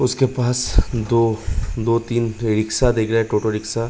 उसके पास दो दो-तीन रिक्शा दिख रहे हैं टो टो रिक्शा --